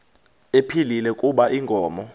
ephilile kuba inkomo